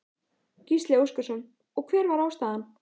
Gísli Óskarsson: Og hver var ástæðan?